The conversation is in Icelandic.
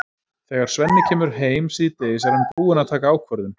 Þegar Svenni kemur heim síðdegis er hann búinn að taka ákvörðun.